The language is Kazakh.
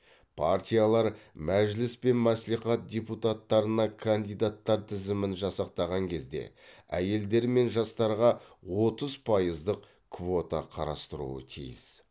партиялар мәжіліс пен мәслихат депутаттарына кандидаттар тізімін жасақтаған кезде әйелдер мен жастарға отыз пайыздық квота қарастыруы тиіс